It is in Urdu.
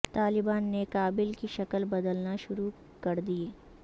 طالبان نے کابل کی شکل بدلنا شروع کر دی